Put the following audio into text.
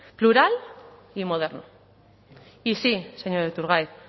plural y moderno y sí señor iturgaiz